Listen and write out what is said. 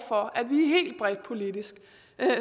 for at vi helt bredt politisk